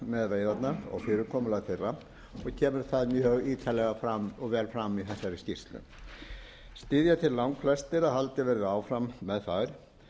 með veiðarnar og fyrirkomulag þeirra og kemur það mjög ítarlega vel fram í þessari skýrslu styðja þeir langflestir að haldið verði áfram með þær þó að